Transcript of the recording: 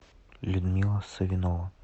людмила савинова